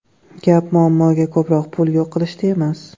Gap muammoga ko‘proq pul yo‘q qilishda emas.